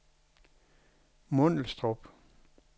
Mundelstrup